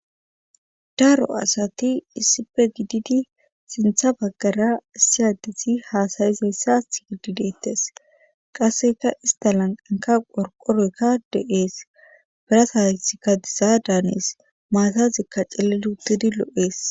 daro asati issipe gididi sintha baggara issiyaddisi haasayizayssa gidideettes qasseka istalanqanka qorqoroykka de7ees birasaysikka diza daanes maasazikka celeluuttidi lo7ees